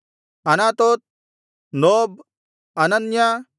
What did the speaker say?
Anathoth ನೋಬ್ ಅನನ್ಯ